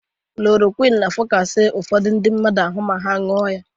Klorokwin na-afụkasị ụfọdụ ndị mmadụ ahụ ma ha nụọ ya.